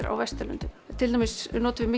á Vesturlöndum til dæmis notum við